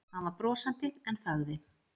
Hann var brosandi en þagði.